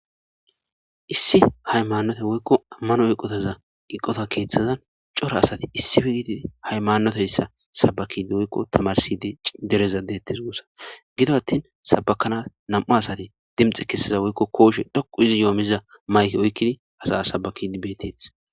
Issi haymanote woyko amano eqota keethazan cora asati issippe gididi hayamanoteysa sabakidi woyko tamarsidi dereza deetes guusa. Gido atri sabakanas nam'u asati dinxe kessiza woyko kooshe dhoqqu histi yohamiza miishan asa sabakidi beetetees.